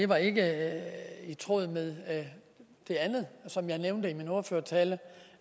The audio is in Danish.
var ikke i tråd med det andet som jeg nævnte i min ordførertale